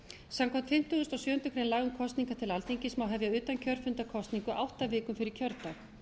samkvæmt fimmtugustu og sjöundu grein laga um kosningar til alþingis má hefja utankjörfundarkosning átta vikum fyrir kjördag